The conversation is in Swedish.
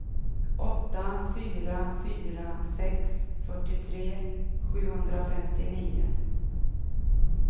åtta fyra fyra sex fyrtiotre sjuhundrafemtionio